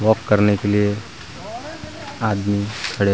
walk करने के लिए आदमी खड़े --